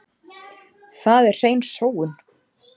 Það er hrein sóun.